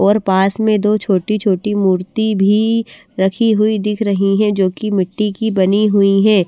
और पास में दो छोटी-छोटी मूर्ति भी रखी हुई दिख रही है जो कि मिट्टी की बनी हुई हैं।